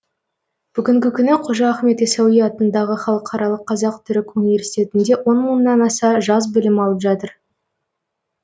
бүгінгі күні қожа ахмет ясауи атындағы халықаралық қазақ түрік университетінде он мыңнан аса жас білім алып жатыр